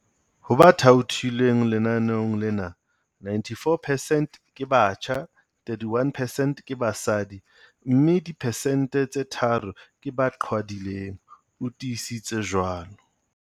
Ho ba thaothilweng lenaneong lena, 94 percent ke batjha, 31 percent ke basadi mme diphesente tse tharo ke ba qhwadileng, o tiisitse jwalo.